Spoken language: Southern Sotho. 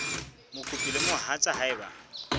mokopi le mohatsa hae ba